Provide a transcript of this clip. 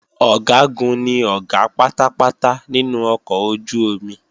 Ọ̀gágun ni Ọ̀gá pátápátá nínú ọkọ̀ ojú-omi